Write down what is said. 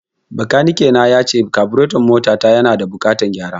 Bakanike na yace kabureton mota ta yana da buƙatan gyara